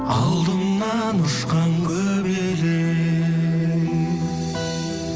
алдымнан ұшқан көбелек